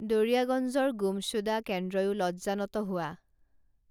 দৰিয়াগঞ্জৰ গুমসূদা কেন্দ্ৰয়ো লজ্জানত হোৱা